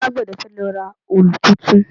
Alágbẹ̀dé fẹ́ lọ ra òòlù tuntun